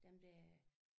Dem der